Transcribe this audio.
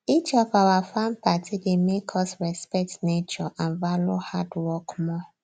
each of our farm party dey make us respect nature and value hard work more